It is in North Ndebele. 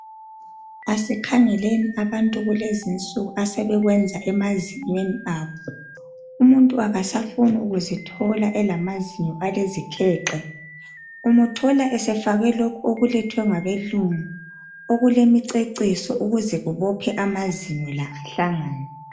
Asikhangeleni abantu kulezinsuku asebekwenza emazinyweni abo. Umuntu akasafuni kuzithola elamazinyo alezikhexe. Umuthola esefake lokho okulethwe ngabelungu okulemiceciso ukuzekubophe amazinyo la ahlangane.